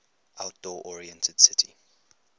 outdoor oriented city